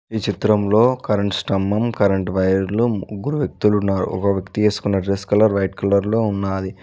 ఈ చిత్రం లో కరెంటు స్తంభం కరెంటు వైరెలు ముగ్గురు వ్యక్తిలు లు ఉన్నారు ఒక వ్యక్తి వేసుకున్న డ్రెస్స్ కలర్ వైట్ కలర్ ఉన్నది.